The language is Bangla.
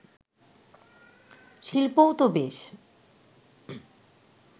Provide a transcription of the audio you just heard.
শিল্পও তো বেশ